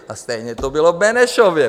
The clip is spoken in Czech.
A stejně to bylo v Benešově.